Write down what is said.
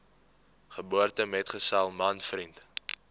geboortemetgesel man vriend